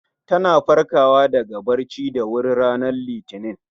Ta na farkawa daga bacci da wuri ranar Litinin